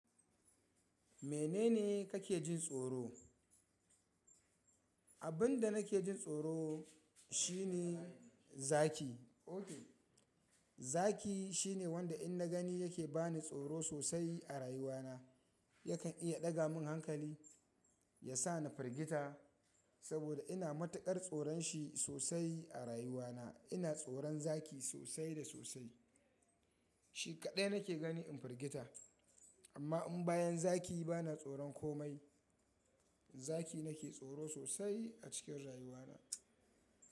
Menene kake jin tsoro? Abin da nake jin tsoro shine zaki. Zaki shine wanda in na gani yake ba ni tsoro sosai a rayuwa na. Yakan iya ɗaga min hankali, yasa na firgita saboda ina matuƙar tsoron shi sosai a rayuwa na. Ina tsoron zaki sosai da sosai. Shi kaɗai nake gani in firgita. Amma in bayan zaki bana tsoron komai. Zaki nake tsoro sosai a cikin rayuwa na.